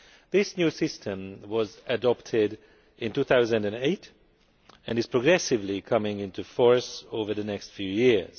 This new system was adopted in 2008 and will progressively come into force over the next few years.